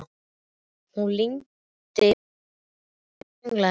Hún lygndi augunum og sönglaði með.